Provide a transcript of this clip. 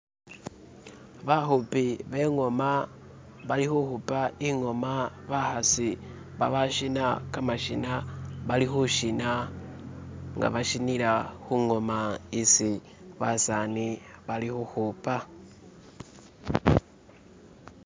bahupi bengoma balihuhupa ingoma bahasi babashina kamashina balihushina nga bashinila hungoma isi basani balihuhupa